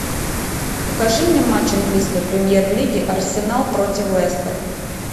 покажи мне матч английской премьер лиги арсенал против лестер